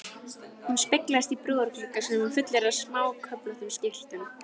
Já þá mætti troða öllum ókvæðisorðum veraldar uppí þig.